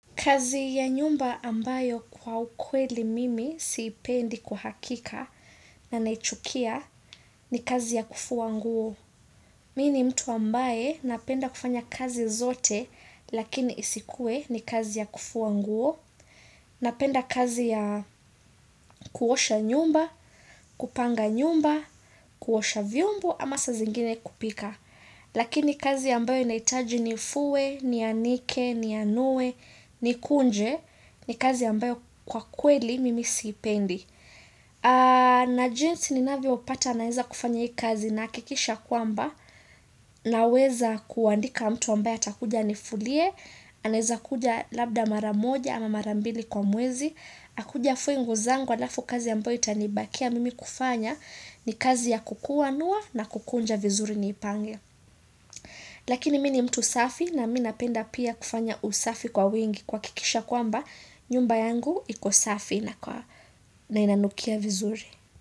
Kazi ya nyumba ambayo kwa ukweli mimi siipendi kwahakika na naichukia ni kazi ya kufua nguo. Mimi ni mtu ambaye napenda kufanya kazi zote lakini isikue ni kazi ya kufua nguo. Napenda kazi ya kuosha nyumba, kupanga nyumba, kuosha vyombo ama saa zingine kupika. Lakini kazi ambayo inahitaji nifue, ni anike, ni anue, ni kunje ni kazi ambayo kwa kweli mimi siipendi na jinsi ninavyo pata naweza kufanya hii kazi nahakikisha kwamba na weza kuandika mtu ambaye atakuja anifulie anaeza kuja labda mara moja ama mara mbili kwa mwezi Akuje afue nguo zangu alafu kazi ambayo itanibakia mimi kufanya ni kazi ya kukuanuwa na kukunja vizuri ni ipange. Lakini mimi ni mtu safi na mimi napenda pia kufanya usafi kwa wingi kuhakikisha kwamba nyumba yangu iko safi na inanukia vizuri.